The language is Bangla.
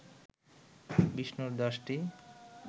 বিষ্ণুর দশটি